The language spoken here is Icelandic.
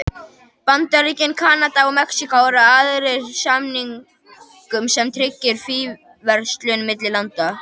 Bandaríkin, Kanada og Mexíkó eru aðilar að samningnum sem tryggir fríverslun milli landanna.